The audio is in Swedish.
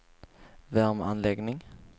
värmeanläggning